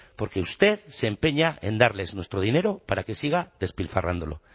porque usted se empeña en darles nuestro dinero para que siga despilfarrándolo